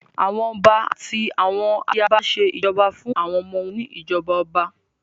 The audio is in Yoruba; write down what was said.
Àwọn ọba àti àwọn ayaba ṣé ìjọba fún àwọn ọmọ wọn ní ìjọba ọba